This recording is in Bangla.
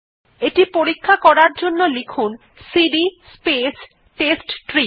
এটি পরীক্ষা করার জন্য লিখুন সিডি স্পেস টেস্টট্রি